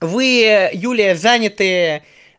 вы юлия заняты